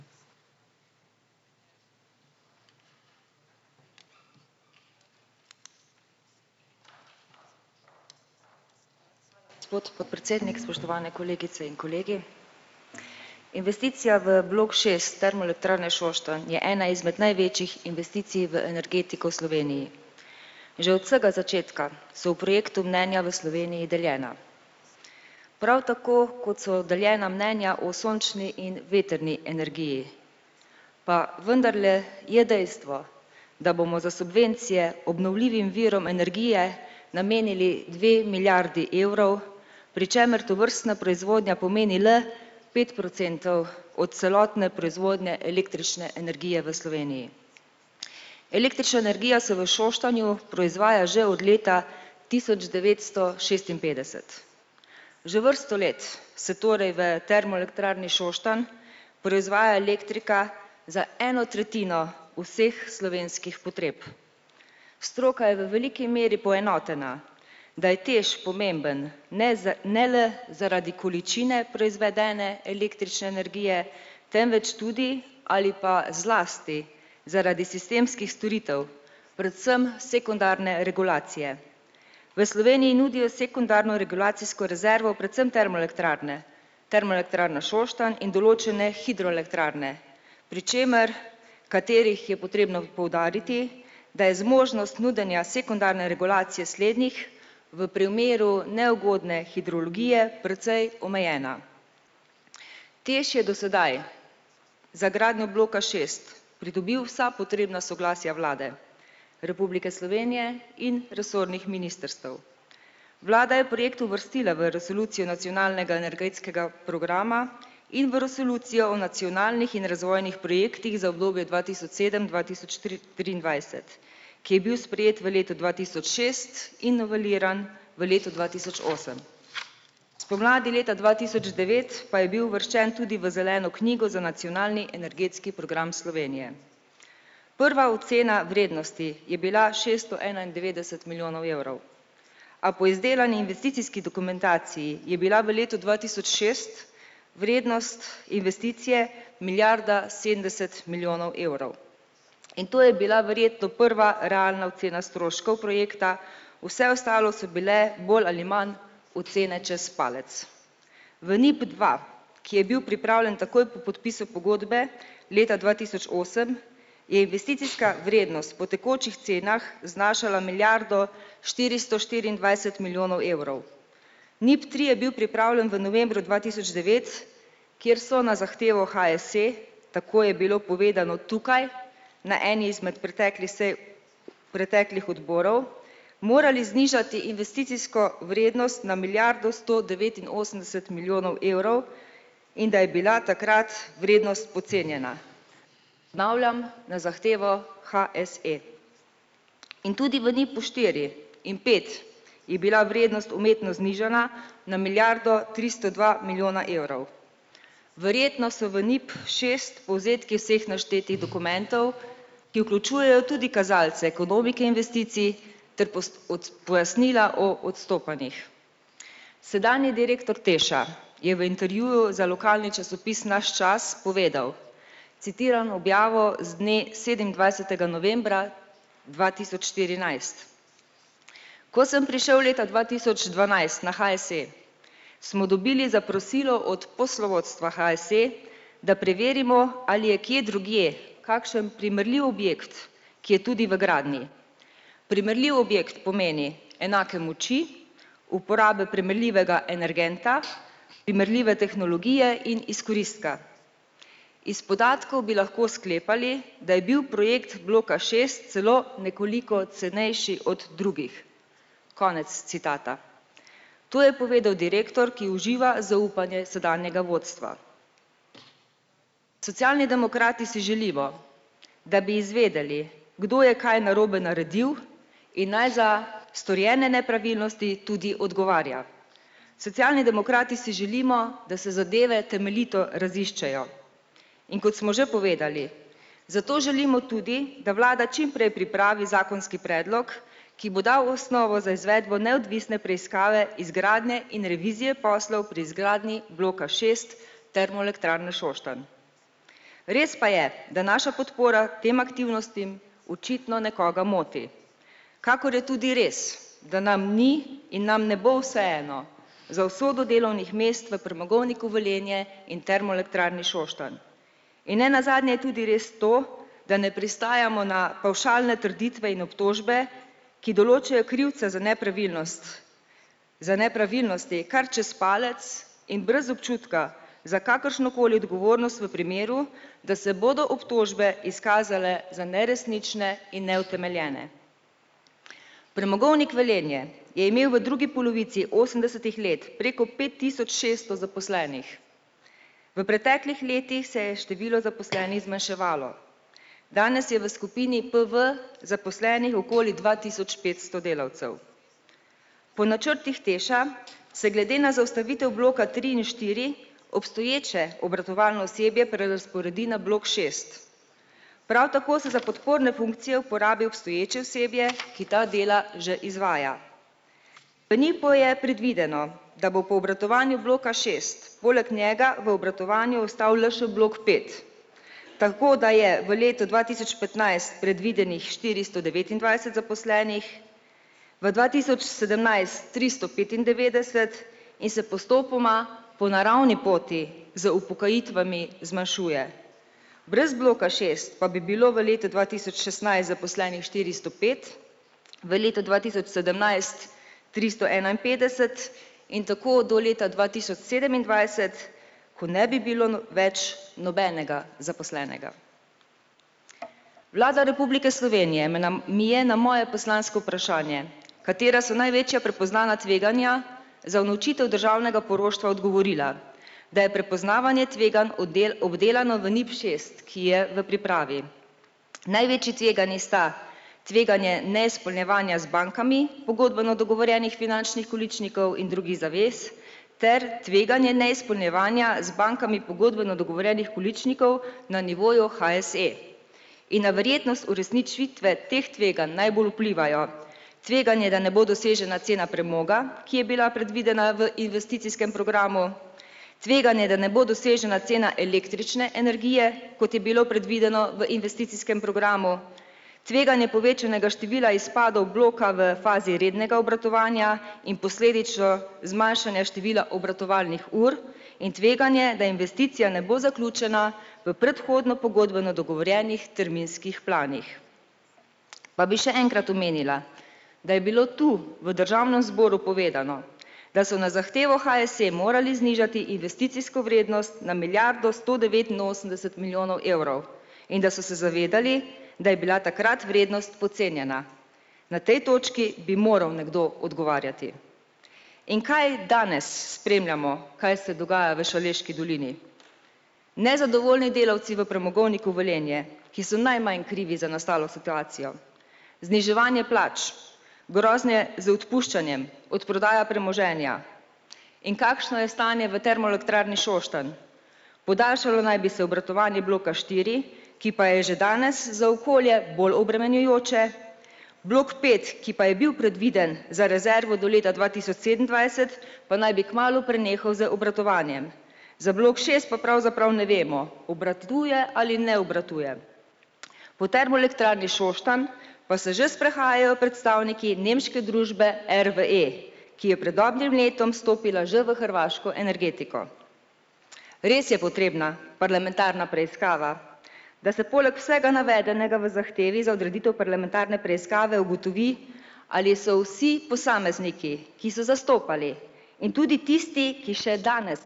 Spodaj podpredsednik, spoštovane kolegice in kolegi! Investicija v blok šest Termoelektrarne Šoštanj je ena izmed največjih investicij v energetiko v Sloveniji. Že od vsega začetka so o projektu mnenja o Sloveniji deljena. Prav tako, kot so deljena mnenja o sončni in vetrni energiji. Pa vendarle je dejstvo, da bomo za subvencije obnovljivim virom energije namenili dve milijardi evrov, pri čemer tovrstna proizvodnja pomeni le pet procentov od celotne proizvodnje električne energije v Sloveniji. Električna energija se v Šoštanju proizvaja že od leta tisoč devetsto šestinpetdeset. Že vrsto let se torej v Termoelektrarni Šoštanj proizvaja elektrika za eno tretjino vseh slovenskih potreb. Stroka je v veliki meri poenotena, da je TEŠ pomemben ne za ne le zaradi količine proizvedene električne energije, temveč tudi ali pa zlasti zaradi sistemskih storitev predvsem sekundarne regulacije. V Sloveniji nudijo sekundarno regulacijsko rezervo predvsem termoelektrarne, Termoelektrarna Šoštanj in določene hidroelektrarne, pri čemer, katerih je potrebno poudariti, da je zmožnost nudenja sekundarne regulacije slednjih v primeru neugodne hidrologije precej omejena. TEŠ je do sedaj za gradnjo bloka šest pridobil vsa potrebna soglasja Vlade Republike Slovenije in resornih ministrstev. Vlada je projekt uvrstila v resolucijo nacionalnega energetskega programa in v resolucijo o nacionalnih in razvojnih projektih za obdobje dva tisoč sedem-dva tisoč triindvajset, ki je bil sprejet v letu dva tisoč šest in noveliran v letu dva tisoč osem. Spomladi leta dva tisoč devet pa je bil uvrščen tudi v zeleno knjigo za nacionalni energetski program Slovenije. Prva ocena vrednosti je bila šeststo enaindevetdeset milijonov evrov. A po izdelani investicijski dokumentaciji je bila v letu dva tisoč šest vrednost investicije milijarde sedemdeset milijonov evrov. In to je bila verjetno prva realna ocena stroškov projekta, vse ostalo so bile bolj ali manj ocene čez palec. V NIP dva, ki je bil pripravljen takoj po podpisu pogodbe leta dva tisoč osem, je investicijska vrednost po tekočih cenah znašala milijardo štiristo štiriindvajset milijonov evrov. NIP tri je bil pripravljen v novembru dva tisoč devet, kjer so na zahtevo HSE, tako je bilo povedano tukaj na eni izmed preteklih sej preteklih odborov, morali znižati investicijsko vrednost na milijardo sto devetinosemdeset milijonov evrov, in da je bila takrat vrednost podcenjena. Ponavljam: na zahtevo HSE. In tudi v NIP-u štiri in pet je bila vrednost umetno znižana na milijardo tristo dva milijona evrov. Verjetno so v NIP šest povzetki vseh naštetih dokumentov, ki vključujejo tudi kazalce ekonomike investicij ter pojasnila o odstopanjih. Sedanji direktor TEŠ-a je v intervjuju za lokalni časopis nas čas povedal, citiram objavo z dne sedemindvajsetega novembra dva tisoč štirinajst. Ko sem prišel leta dva tisoč dvanajst na HSE, smo dobili zaprosilo od poslovodstva HSE, da preverimo, ali je kje drugje kakšen primerljiv objekt, ki je tudi v gradnji. Primerljiv objekt pomeni enake moči, uporabe primerljivega energenta, primerljive tehnologije in izkoristka. Iz podatkov bi lahko sklepali, da je bil projekt bloka šest celo nekoliko cenejši od drugih. Konec citata. To je povedal direktor, ki uživa zaupanje sedanjega vodstva. Socialni demokrati si želimo, da bi izvedeli, kdo je kaj narobe naredil, in naj za storjene nepravilnosti tudi odgovarja. Socialni demokrati si želimo, da se zadeve temeljito raziščejo. In kot smo že povedali, zato želimo tudi, da vlada čimprej pripravi zakonski predlog, ki bo dal osnovo za izvedbo neodvisne preiskave izgradnje in revizije poslov pri izgradnji bloka šest Termoelektrarne Šoštanj. Res pa je, da naša podpora tem aktivnostim očitno nekoga moti. Kakor je tudi res, da nam ni in nam ne bo vseeno za usodo delovnih mest v Premogovniku Velenje in Termoelektrarni Šoštanj. In nenazadnje je tudi res to, da ne pristajamo na pavšalne trditve in obtožbe, ki določajo krivca za nepravilnost, za nepravilnosti kar čez palec in brez občutka za kakršnokoli odgovornost v primeru, da se bodo obtožbe izkazale za neresnične in neutemeljene. Premogovnik Velenje je imel v drugi polovici osemdesetih let preko pet tisoč šeststo zaposlenih, v preteklih letih se je število zaposlenih zmanjševalo. Danes je v skupini PV zaposlenih okoli dva tisoč petsto delavcev. Po načrtih TEŠ-a se glede na zaustavitev bloka tri in štiri obstoječe obratovalno osebje prerazporedi na blok šest. Prav tako se za podporne funkcije uporabi obstoječe osebje, ki ta dela že izvaja. V NIP-u je predvideno, da bo po obratovanju bloka šest poleg njega v obratovanju ostal le še blok pet. Tako da je v letu dva tisoč petnajst predvidenih štiristo devetindvajset zaposlenih, v dva tisoč sedemnajst tristo petindevetdeset, in se postopoma po naravni poti z upokojitvami zmanjšuje. Brez bloka šest pa bi bilo v letu dva tisoč šestnajst zaposlenih štiristo pet, v letu dva tisoč sedemnajst tristo enainpetdeset, in tako do leta dva tisoč sedemindvajset, ko ne bi bilo več nobenega zaposlenega. Vlada Republike Slovenije mi je na moje poslansko vprašanje - "Katera so največja prepoznana tveganja za unovčitev državnega poroštva?" - odgovorila. Da je prepoznavanje tveganj obdelano v NIP šest, ki je v pripravi. Največji tveganji sta tveganje neizpolnjevanja z bankami pogodbeno dogovorjenih finančnih količnikov in drugih zavez ter tveganje neizpolnjevanja z bankami pogodbeno dogovorjenih količnikov na nivoju HSE. In na verjetnost uresničitve teh tveganj najbolj vplivajo tveganje, da ne bo dosežena cena premoga, ki je bila predvidena v investicijskem programu, tveganje, da ne bo dosežena cena električne energije, kot je bilo predvideno v investicijskem programu, tveganje povečanega števila izpadov bloka v fazi rednega obratovanja in posledično zmanjšanje števila obratovalnih ur, in tveganje, da investicija ne bo zaključena v predhodno pogodbeno dogovorjenih terminskih planih. Pa bi še enkrat omenila, da je bilo to v državnem zboru povedano, da so na zahtevo HSE morali znižati investicijsko vrednost na milijardo sto devetinosemdeset milijonov evrov. In da so se zavedali, da je bila takrat vrednost podcenjena. Na tej točki bi moral nekdo odgovarjati. In kaj danes spremljamo, kaj se dogaja v Šaleški dolini. Nezadovoljni delavci v Premogovniku Velenje, ki so najmanj krivi za nastalo situacijo, zniževanje plač, grožnje z odpuščanjem, odprodaja premoženja. In kakšno je stanje v Termoelektrarni Šoštanj? Podaljšalo naj bi se obratovanje bloka štiri, ki pa je že danes za okolje bolj obremenjujoče, blok pet, ki pa je bil predviden za rezervo do leta dva tisoč sedemindvajset, pa naj bi kmalu prenehal z obratovanjem. Za blok šest pa pravzaprav ne vemo, obratuje ali ne obratuje. Po Termoelektrarni Šoštanj pa se že sprehajajo predstavniki nemške družbe RWE, ki je pred dobrim letom stopila že v hrvaško energetiko. Res je potrebna parlamentarna preiskava, da se poleg vsega navedenega v zahtevi za odreditev parlamentarne preiskave ugotovi, ali so vsi posamezniki, ki so zastopali, in tudi tisti, ki še danes.